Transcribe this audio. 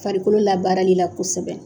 Farikolo la baarali kosɛbɛ